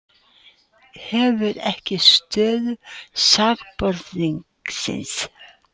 Hefur ekki stöðu sakbornings